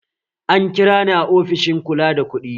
An kira ni a ofishin kula da kuɗi